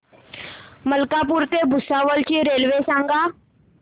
मलकापूर ते भुसावळ ची रेल्वे सांगा